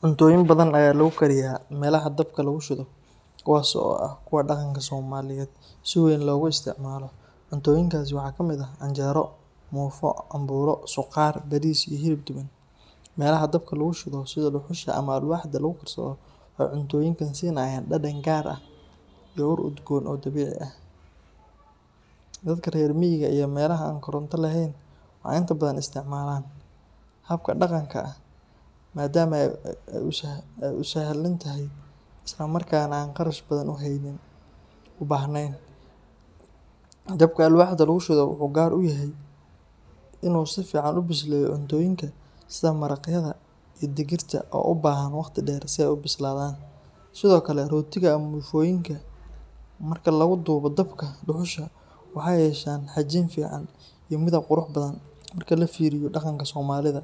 Cuntooyin badan ayaa lagu kariyaa meelaha dabka lagu shido, kuwaas oo ah kuwa dhaqanka Soomaaliyeed si weyn loogu isticmaalo. Cuntooyinkaasi waxaa ka mid ah canjeero, muufo, cambuulo, suqaar, bariis, iyo hilib duban. Meelaha dabka lagu shido sida dhuxusha ama alwaaxda lagu karsado, waxay cuntooyinka siinayaan dhadhan gaar ah iyo ur udgoon oo dabiici ah. Dadka reer miyiga iyo meelaha aan koronto lahayn waxay inta badan isticmaalaan habkan dhaqanka ah, maadaama uu sahlan yahay isla markaana aan kharash badan u baahnayn. Dabka alwaaxda lagu shido wuxuu gaar u yahay in uu si fiican u bisleeyo cuntooyinka sida maraqyada iyo digirta oo u baahan waqti dheer si ay u bislaadaan. Sidoo kale, rootiga ama muufooyinka marka lagu dubo dabka dhuxusha waxay yeeshaan xajiin fiican iyo midab qurux badan. Marka la fiiriyo dhaqanka soomaalida,